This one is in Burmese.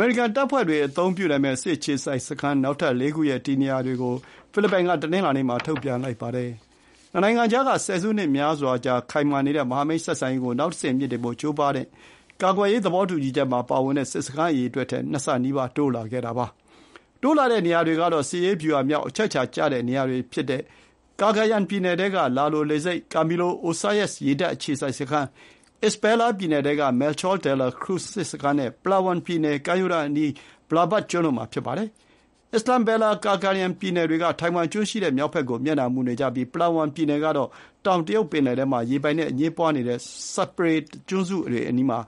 ေရိကန်တပ်ဖွဲ့တွေအသုံးပြုနိုင်မယ့် စစ်အခြေစိုက်စခန်းနောက်ထပ် ၄ ခု ရဲ့ တည်နေရာတွေကို ဖိလစ်ပိုင်က တနင်္လာနေ့မှာ ထုတ်ပြန်လိုက်ပါတယ်။ နှစ်နိုင်ငံကြားက ဆယ်စုနှစ်များစွာကြာ ခိုင်မာနေတဲ့မဟာမိတ်ဆက်ဆံရေးကို နောက်တဆင့်မြှင့်တင်ဖို့ကြိုးပမ်းတဲ့ ကာကွယ်ရေးသဘောတူညီချက်မှာ ပါဝင်တဲ့ စစ်စခန်းအရေအတွက်ထက် နှစ်ဆနီးပါး တိုးလာခဲ့တာပါ။ တိုးလာတဲ့နေရာတွေကတော့ စစ်ရေးဗျူဟာမြောက် အချက်အချာကျတဲ့နေရာတွေဖြစ်တဲ့ ကာဂါယန်ပြည်နယ်ထဲက လာလိုလေဆိပ်၊ ကာမီလိုအိုဆာယက်စ် ရေတပ်အခြေစိုက်စခန်း၊ အစ္စဘယ်လာပြည်နယ်ထဲက မဲလ်ချော ဒဲလ်လာ ခရူဇ် စစ်စခန်းနဲ့ ပလာဝမ် ပြည်နယ်ကမ်းရိုးတန်းအနီးက ဗာလဘတ်ကျွန်းတို့မှာ ဖြစ်ပါတယ်။ အစ္စဘယ်လာနဲ့ ကာဂါယန်ပြည်နယ်တွေက ထိုင်ဝမ်ကျွန်းရှိတဲ့မြောက်ဘက်ကို မျက်နှာမူနေကြပြီး ပလာဝမ် ပြည်နယ်ကတော့ တောင်တရုတ်ပင်လယ်ထဲမှာ ရေပိုင်နယ်အငြင်းပွားနေတဲ့ စပရက်တလေကျွန်းစုတွေအနီးမှာ